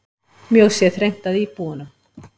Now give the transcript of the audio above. Mjög sé þrengt að íbúunum.